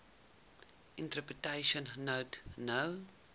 interpretation note no